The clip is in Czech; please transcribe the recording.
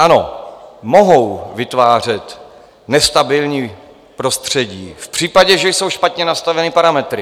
Ano, mohou vytvářet nestabilní prostředí v případě, že jsou špatně nastaveny parametry.